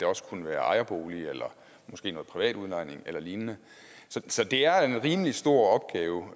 også kan være ejerboliger eller måske noget privat udlejning eller lignende så det er en rimelig stor opgave